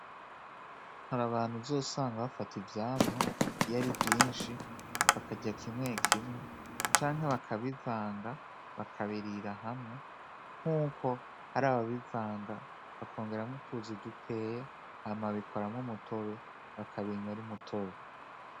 Hari abantu uzosanga bafata ivyamwa iyo ari vyinshi bakarya kimwe kimwe canke bakabivanga bakabirira hamwe nkuko hari ababivanga bakongeramwo utuzi dukeyi hama babikoramwo umutobe, bakabinwa ari umutobe.